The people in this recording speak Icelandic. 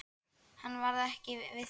Hann varð ekki við því.